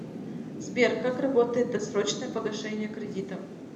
сбер как работает досрочное погашение кредита